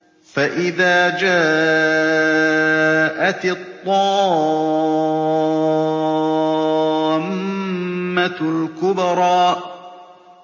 فَإِذَا جَاءَتِ الطَّامَّةُ الْكُبْرَىٰ